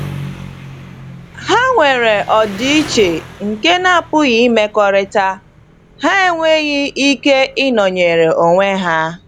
Ha nwere ọdịiche nke na-apụghị imekọrịta; ha enweghị ike ịnọnyere onwe ha.